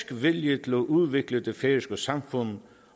vilje til at udvikle det færøske samfund